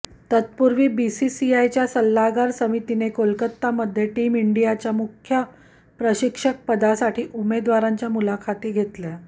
तत्पूर्वी बीसीसीआयच्या सल्लागार समितीने कोलकातामध्ये टीम इंडियाच्या मुख्य प्रशिक्षकपदासाठी उमेदवारांच्या मुलाखती घेतल्या